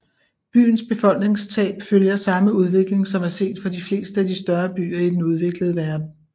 Byens befolkningstab følger samme udvikling som er set for de fleste af de større byer i den udviklede verden